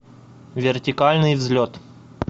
вертикальный взлет